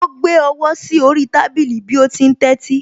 Ó gbé ọwọ́ sí orí tábìlì bí ó ti ń tẹ́tí